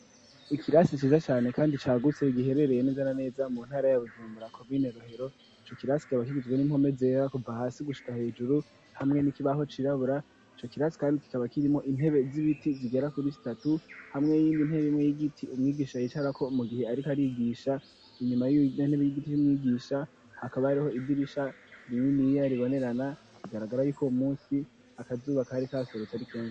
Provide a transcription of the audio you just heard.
Ikirasi ciza cane kandi cagutse igiherereye niza na neza mu ntara ya Bujumura komine Rohero ico kirasi kikaba kigizwe n'impome zera kuva hasi gushika hejuru hamwe n'ikibaho cirabura, ico kirasi kandi kikaba kirimo intebe z'ibiti zigera kuri zitatu hamwe n'iyindi ntebe imwe y'igiti umwigisha yicarako mu gihe ariko arigisha, inyuma yiyo ntebe y'igiti y'umwigisha hakaba hariho idirisha rininiya ribonerana bigaragara yuko uwo munsi akazuba kari kaserutse ari kenshi.